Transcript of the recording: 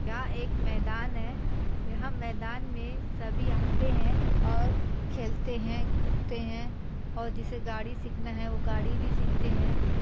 यह एक मैदान है यहाँ मैदान में सभी आते है और खेलते है कूदते है और जिसे गाड़ी सीखना है वो गाड़ी भी सीखते है ।